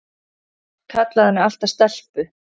Hann kallaði mig alltaf stelpu.